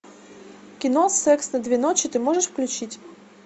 кино секс на две ночи ты можешь включить